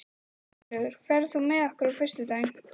Sigurlaugur, ferð þú með okkur á föstudaginn?